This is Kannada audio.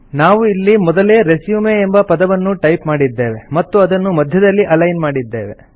ನಾವು ಇಲ್ಲಿ ಮೊದಲೇ ರೆಸ್ಯೂಮ್ ಎಂಬ ಪದವನ್ನು ಟೈಪ್ ಮಾಡಿದ್ದೇವೆ ಮತ್ತು ಅದನ್ನು ಮಧ್ಯದಲ್ಲಿ ಅಲೈನ್ ಮಾಡಿದ್ದೇವೆ